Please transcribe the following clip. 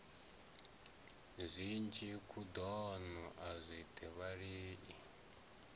zwinzhi khuḓano a i thivhelei